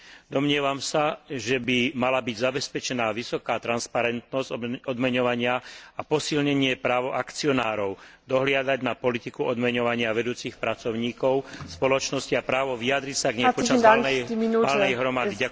Domnievam sa, že by mala byť zabezpečená vysoká transparentnosť odmeňovania a posilnenie práva akcionárov dohliadať na politiku odmeňovania vedúcich pracovníkov spoločností a právo vyjadriť sa k nej počas valnej hromady.